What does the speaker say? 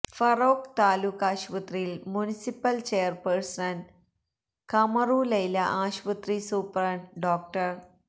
ഫറോക്ക് താലൂക്കാശുപത്രിയിൽ municipal chairperson Kamaru Laila ആശുപത്രി superintendent ഡോ